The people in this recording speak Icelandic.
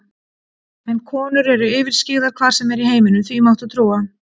En konur eru yfirskyggðar hvar sem er í heiminum, því máttu trúa.